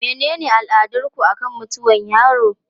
Menene al'adarku akan mutuwar yaro?